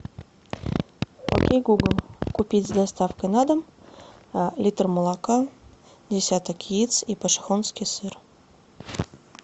окей гугл купить с доставкой на дом литр молока десяток яиц и пошехонский сыр